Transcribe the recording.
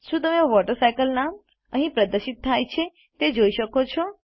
શું તમે વોટરસાયકલસ્લાઇડ નામ અહીં પ્રદર્શિત થાય છે તે જોઈ શકો છો